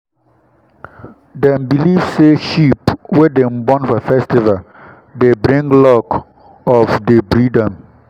dem believe say sheep wey dem born for festival time dey bring luck of dey breed am